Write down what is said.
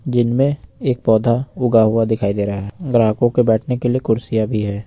दिन में एक पौधा उगा हुआ दिखाई दे रहा है ग्राहकों के बैठने के लिए कुर्सियां भी है।